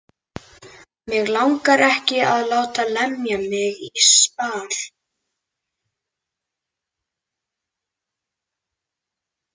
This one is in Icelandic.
Mig langar ekki að láta lemja mig í spað.